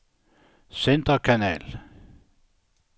centerkanal